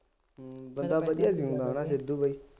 ਬੰਦਾ ਵਧੀਆਂ ਨਹੀਂ ਹੈਗਾ ਨਾ ਸਿੱਧੂ ਬਾਈ